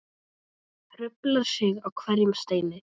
Hrufla sig á hverjum steini.